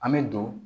An bɛ don